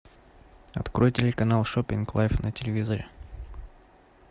открой телеканал шоппинг лайф на телевизоре